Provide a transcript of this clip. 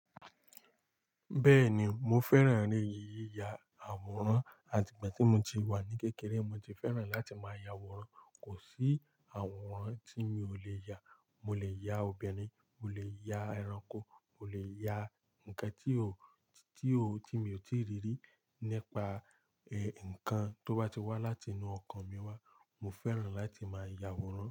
Bẹ́ẹ̀ni, mo fẹ́ràn ni yíyi ya àwòrán, àti ìgbà tí mo ti wà ní kékeré mo ti fẹ́ràn láti máa ya àwòrán. Kò sí àwòrán tí n mi ò lè ya. Mo lè ya obìnrin, mo lè ya ẹranko, mo lè ya nǹkan tí ó, tí ó, tí mi ò tíì rí rí. Nípa ẹ, nǹkan tó bá ti wá láti inú ọkàn mi wá, mo fẹ́ràn láti máa ya àwòrán.